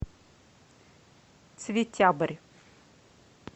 цветябрь